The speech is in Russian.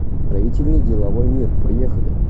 строительный деловой мир поехали